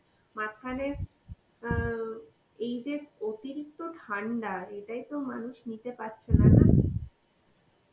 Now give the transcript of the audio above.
মাঝখানে অ্যাঁ এই যে অতিরিক্ত ঠান্ডা এটাই তো মানুষ নিতে পারছেনা না?